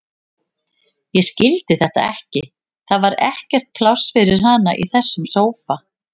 Ég skildi þetta ekki, það var ekkert pláss fyrir hana í þessum sófa.